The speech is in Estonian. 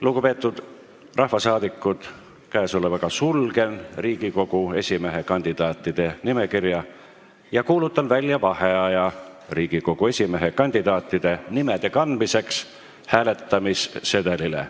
Lugupeetud rahvasaadikud, sulgen Riigikogu esimehe kandidaatide nimekirja ja kuulutan välja vaheaja Riigikogu esimehe kandidaatide nimede kandmiseks hääletamissedelile.